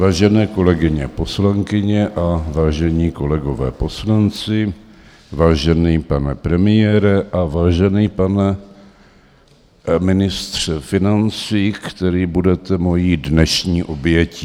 Vážené kolegyně poslankyně a vážení kolegové poslanci, vážený pane premiére a vážený pane ministře financí, který budete mojí dnešní obětí.